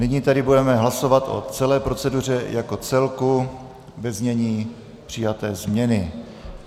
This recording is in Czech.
Nyní tedy budeme hlasovat o celé proceduře jako celku ve znění přijaté změny.